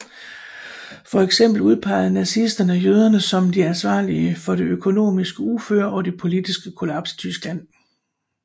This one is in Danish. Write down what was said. For eksempel udpegede nazisterne jøderne som de ansvarlige for det økonomiske uføre og det politiske kollaps i Tyskland